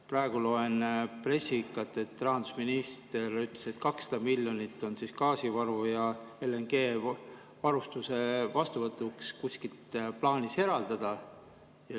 Praegu loen pressikat, et rahandusminister ütles, et 200 miljonit on gaasivaru ja LNG-varustuse vastuvõtuks kuskilt plaanis eraldada.